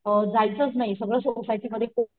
जायचंच नाही सगळं सोसायटी मध्ये,